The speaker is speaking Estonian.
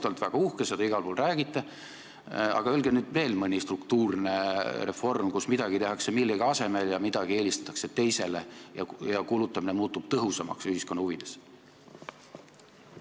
Te olete väga uhked ja räägite seda igal pool, aga nimetage nüüd veel mõni struktuurne reform, kus midagi tehakse millegi asemel ja midagi eelistatakse teisele ja kulutamine muutub ühiskonna huvides tõhusamaks!